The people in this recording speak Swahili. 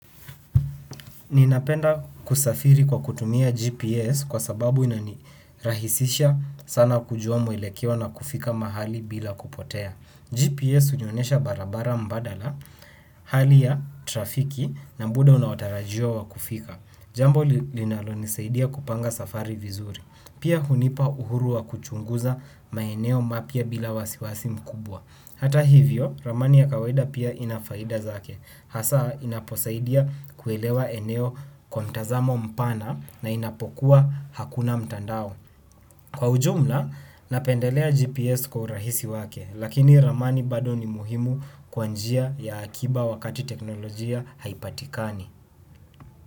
Ninapenda kusafiri kwa kutumia GPS kwa sababu inanirahisisha sana kujua mwelekeo na kufika mahali bila kupotea. GPS hunionyesha barabara mbadala hali ya trafiki na muda unaotarajiwa wa kufika. Jambo linalonisaidia kupanga safari vizuri. Pia hunipa uhuru wa kuchunguza maeneo mapya bila wasiwasi mkubwa. Hata hivyo ramani ya kawaida pia ina faida zake. Hasaa inaposaidia kuelewa eneo kwa mtazamo mpana na inapokuwa hakuna mtandao. Kwa ujumla, napendelea GPS kwa urahisi wake, lakini ramani bado ni muhimu kwa njia ya akiba wakati teknolojia haipatikani.